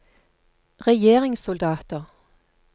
regjeringssoldater